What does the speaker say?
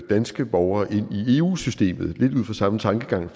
danske borgere ind i eu systemet lidt ud fra samme tankegang